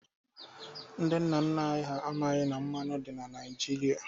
Ndị nna nna anyị ha amaghị na mmanụ dị na Naịjirịa.